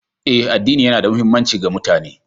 Eh, addini yana da muhimmanci ga mutane